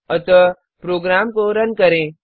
अतः प्रोग्राम को रन करें